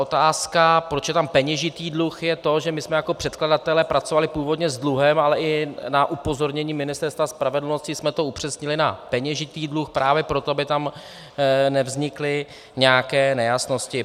Otázka "proč je tam peněžitý dluh" je to, že my jsme jako předkladatelé pracovali původně s dluhem, ale i na upozornění Ministerstva spravedlnosti jsme to upřesnili na peněžitý dluh právě proto, aby tam nevznikly nějaké nejasnosti.